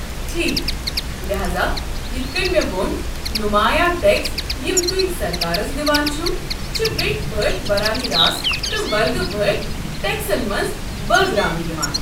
ٹھیكھ، لہاذا یِتھ كٔنۍ مے٘ وۄن، نُمایا ٹیكس یِم توہہِ سركارس دِوان چھِوٕ چھِ ویٹھۍ پٲٹھۍ براہ راست تہٕ ورگہٕ پٲٹھۍ ٹیكسن منٛز بٲگراونہٕ یوان۔